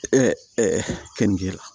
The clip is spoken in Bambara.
kenige la